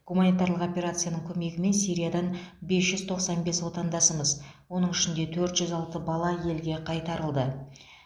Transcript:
гуманитарлық операцияның көмегімен сириядан бес жүз тоқсан бес отандасымыз оның ішінде төрт жүз алты бала елге қайтарылды